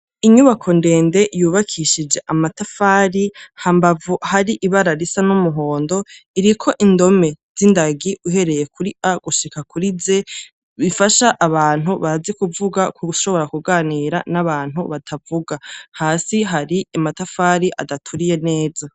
Inyubako ndende yubakishije amatafari, hambavu hari ibara risa n'umuhondo iriko indome z'indagi uhereye kuri A gushika kuri Z, bifasha abantu bazi kuvuga gushobora kuganira n'abantu batavuga. Hasi hari amatafari adaturiye neza.